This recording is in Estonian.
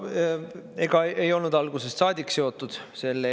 Ega ei olnud algusest saadik seotud.